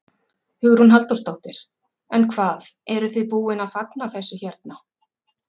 Hugrún Halldórsdóttir: En hvað, eruð þið búin að fagna þessu hérna?